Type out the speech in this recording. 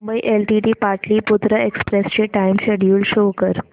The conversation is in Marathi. मुंबई एलटीटी पाटलिपुत्र एक्सप्रेस चे टाइम शेड्यूल शो कर